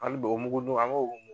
Ali bi o mugudun an ko